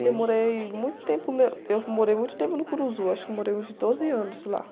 Eu morei muito tempo nã, eu morei muito tempo no, acho que morei uns doze anos lá.